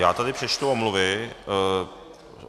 Já tady přečtu omluvy.